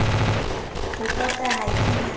a pota ha ke na